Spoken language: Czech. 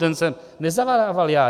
Ten jsem nezadával já.